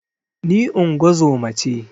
Ni ingozuma ce